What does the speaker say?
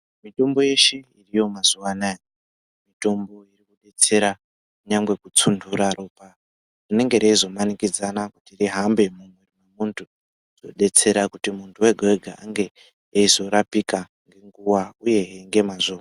Mitombo yeshe iriyo mazuwanaya mitombo inodetsera kunyangwe kutsundura ropa kuti risange reizomanikidzana kuti rihambe mumwiri mwemuntu zvodetsera kuti muntu wega wega ange eizorapika ngenguwa uye ngemazvo.